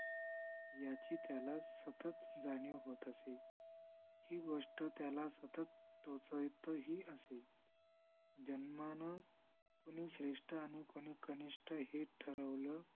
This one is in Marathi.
याची त्याला सतत जाणीव होत असे ही गोष्ट त्याला सतत टोचतही असे जन्मानं कुणी श्रेष्ठ आणि कुणी कनिष्ठ हे ठरवलं